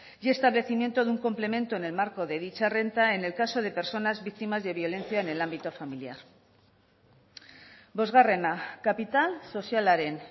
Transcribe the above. y establecimiento de un complemento en el marco de dicha renta en el caso de personas víctimas de violencia en el ámbito familiar bosgarrena kapital sozialaren